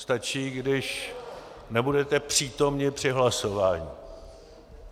Stačí, když nebudete přítomni při hlasování.